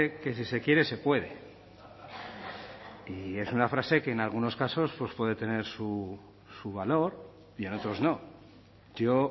que si se quiere se puede y es una frase que en algunos casos puede tener su valor y en otros no yo